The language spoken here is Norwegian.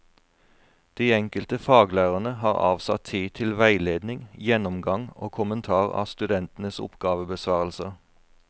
De enkelte faglærerne har avsatt tid til veiledning, gjennomgang og kommentar av studentenes oppgavebesvarelser.